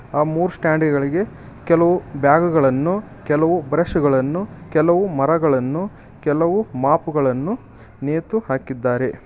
ಆ ಮೂರ್ ಸ್ಟಾಂಡ್ ಗಳಿಗೆ ಕೆಲವು ಬ್ಯಾಗು ಗಳನ್ನು ಕೆಲವು ಬ್ರಷ್ ಗಳನ್ನು ಕೆಲವು ಮರಗಳನ್ನು ಕೆಲವು ಮಾಪು ಗಳನ್ನು ನೇತು ಹಾಕಿದ್ದಾರೆ.